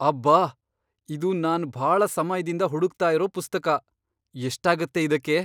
ಅಬ್ಬಾ! ಇದು ನಾನ್ ಭಾಳ ಸಮಯ್ದಿಂದ ಹುಡುಕ್ತಾ ಇರೋ ಪುಸ್ತಕ. ಎಷ್ಟಾಗತ್ತೆ ಇದಕ್ಕೆ?